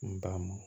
N ban ma